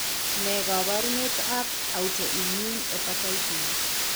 Ne kaabarunetap Autoimmune hepatitis?